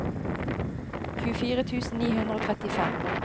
tjuefire tusen ni hundre og trettifem